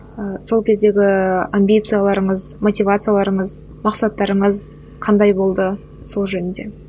ыыы сол кездегі амбицияларыңыз мотивацияларыңыз мақсаттарыңыз қандай болды сол жөнінде